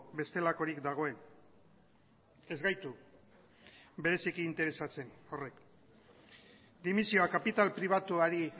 bestelakorik dagoen ez gaitu bereziki interesatzen horrek dimisioa kapital pribatuari